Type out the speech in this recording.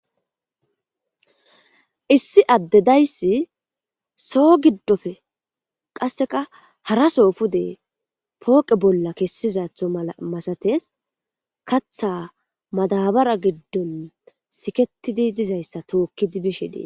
Issi adde dayssi soo giddoppe qasseka haraso pude pooqe bolla kessizatho mala masates. Katha madabara giddon siketidi dizayssa tookkidi bishe de7ees.